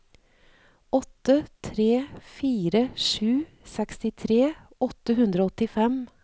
åtte tre fire sju sekstitre åtte hundre og åttifem